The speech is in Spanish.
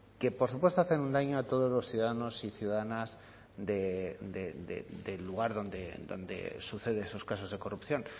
que por supuesto hacen un daño a todos los ciudadanos y ciudadanas del lugar donde suceden esos casos de corrupción